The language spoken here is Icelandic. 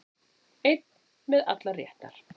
Einn með allar réttar